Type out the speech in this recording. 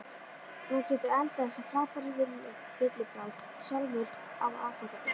Nú geturðu eldað þessa frábæru villibráð sjálfur á aðfangadag.